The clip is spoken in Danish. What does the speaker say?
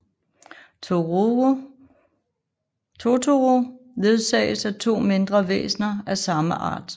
Totoro ledsages af to mindre væsner af samme art